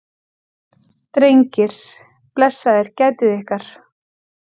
Drengir, blessaðir gætið ykkar.